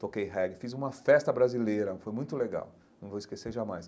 Toquei reggae, fiz uma festa brasileira, foi muito legal, não vou esquecer jamais.